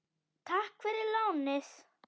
Takk fyrir lánið!